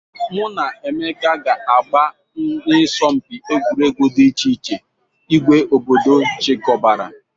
Mụ na Emeka ga-agba n'asọmpi egwuregwu dị iche iche ìgwè obodo chikọbara.